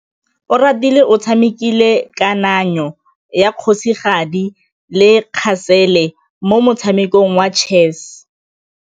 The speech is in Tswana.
Oratile o tshamekile kananyô ya kgosigadi le khasêlê mo motshamekong wa chess.